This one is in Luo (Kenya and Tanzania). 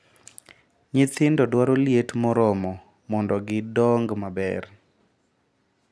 Nyithindo dwaro liet moromo mondo gi dong maber.